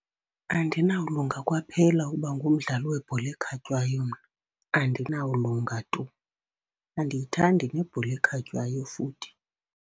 Andinawulunga kwaphela ukuba ngumdlali webhola ekhatywayo mna, andinawulunga tu. Andiyithandi nebhola ekhatywayo futhi.